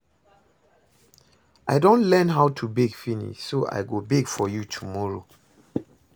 I don learn how to bake finish so I go bake for you tomorrow